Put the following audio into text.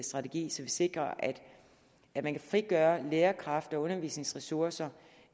strategi så vi sikrer at der kan frigøres lærerkræfter og undervisningsressourcer